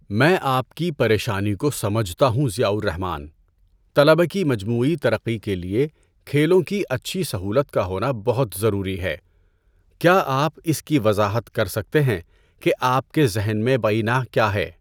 میں آپ کی پریشانی کو سمجھتا ہوں، ضیاء الرّحمان۔ طلبہ کی مجموعی ترقی کے لیے کھیلوں کی اچھی سہولت کا ہونا بہت ضروری ہے۔ کیا آپ اِس کی وضاحت کر سکتے ہیں کہ آپ کے ذہن میں بعینہٖ کیا ہے؟